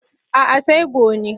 A'a sai gone.